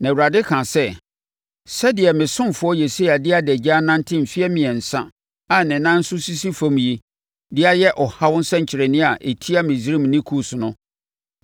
Na Awurade kaa sɛ, “Sɛdeɛ me ɔsomfoɔ Yesaia de adagya anante mfeɛ mmiɛnsa a ne nan nso sisi fam yi de ayɛ ɔhaw nsɛnkyerɛnneɛ a ɛtia Misraim ne Kus no,